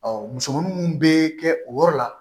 musomanin minnu bɛ kɛ o yɔrɔ la